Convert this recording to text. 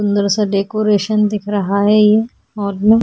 सुंदर-सा डेकोरेशन दिख रहा है ये औरमल --